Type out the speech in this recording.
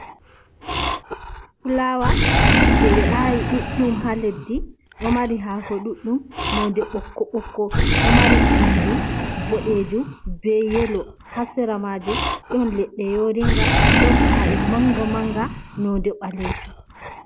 Fulawa je ɓe ayi ɗuɗɗum ha leɗɗi. Ɗo mari hako ɗuɗɗum noɗe bokko bokko. Ɗo mari pinɗi ɓoɗejum, ɓe Yelo. Ha sera majum ɗon leɗɗe yoringa, ɗon ka’e manga manga noɗe ɓalejum.